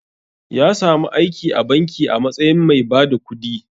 Ya samu aiki a banki a matsayin mai bada kudi.